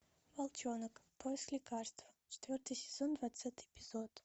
волчонок поиск лекарства четвертый сезон двадцатый эпизод